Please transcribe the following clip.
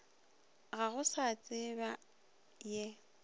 ga go sa tsebja ye